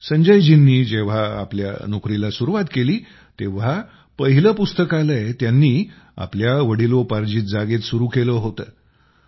संजयजींनी जेव्हा आपल्या नोकरीस सुरूवात केली तेव्हा पहिले पुस्तकालय त्यांनी आपल्या वडिलोपार्जित जागेत सुरू केलं होतं